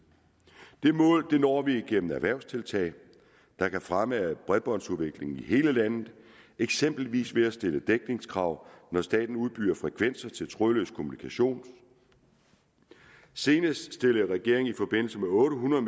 det mål når vi igennem erhvervstiltag der kan fremme bredbåndsudviklingen i hele landet eksempelvis ved at stille dækningskrav når staten udbyder frekvenser til trådløs kommunikation senest stillede regeringen i forbindelse med otte hundrede